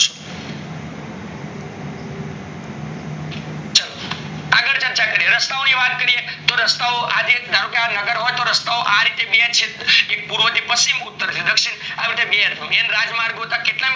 ચાલો આગળ વાત કરીએ, તો રસ્તા ઓ ની વાત કરીએ તો રસ્તા ઓ ધારો કે આ રસ્તાઓ, ધારો કે આ નગર હોય તો રસ્ત આ રીતે એક પૂર્વ અને એક પશ્ચિમ ઉતર ને દક્ષીણ માં બે રાજ માર્ગો હતા